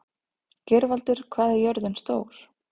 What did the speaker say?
Geirvaldur, hvað er jörðin stór?